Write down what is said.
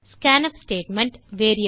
scanf statement